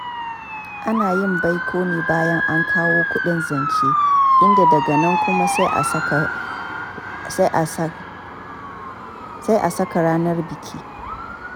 Ana yin baiko ne bayan an kawo kuɗin zance, inda daga nan kuma sai asaka ranar biki.